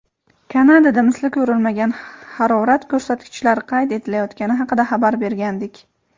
Kanadada misli ko‘rilmagan harorat ko‘rsatkichlari qayd etilayotgani haqida xabar bergandik.